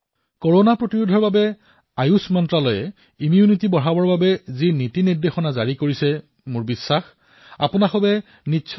কৰোনাৰ প্ৰতি লক্ষ্য ৰাথি আয়ুষ মন্ত্ৰালয়ে ৰোগ প্ৰতিৰোধক ক্ষমতা বৃদ্ধিৰ বাবে যি প্ৰটকল দিছিল মোৰ বিশ্বাস যে আপোনালোকে ইয়াৰ প্ৰয়োগ নিশ্চয়কৈ কৰিছে